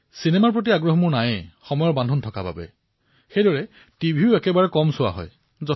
cinema চোৱাৰ ৰুচিও নাথাকিল আৰু সেইদৰে টিভিও চাবলৈ নাপাও